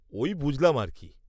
-ওই বুঝলাম আর কি।